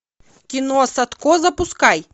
кино садко запускай